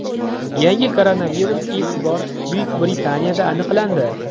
Yangi koronavirus ilk bor Buyuk Britaniyada aniqlandi.